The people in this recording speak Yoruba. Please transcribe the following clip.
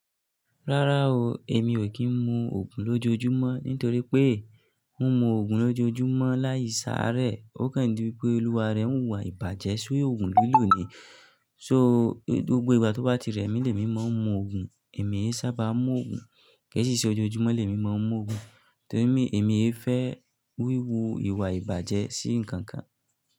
Rárá o, èmi ò kí ń mu òògùn lójoojúmọ́ nítorí pé, mi mu òògùn lójoojúmọ́ láì sáré, ó kàn di wípé olúwa rẹ̀ ń wuwà ìbàjẹ́ si òògùn liló nìí. So, gbogbo ìgbà tó bá ti rẹ̀ mí lè mí máa ń mu òògùn. È mii sábà ń mu òògùn, kí a sì ṣe ojoojúmọ́ lè mi máa ń mu òògùn, torí mí èmi é fẹ́ wíwu ìwà ìbàjẹ́ sí nǹkan kan.